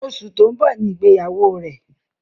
Oṣù tó ń bọ̀ Ni ìgbéyàwó rẹ̀.